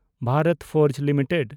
Bharat Forge limited